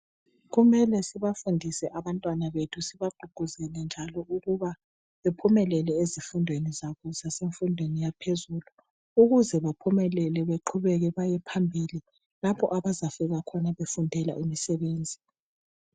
Kumele sibafundise abantwana bethu sibagqugquzele njalo ukuba bephumelele ezifundweni zabo zasemfundweni yaphezulu ukuze baphumelele baqhubeke bayephambili lapho abazafika khona befundela umsebenzi.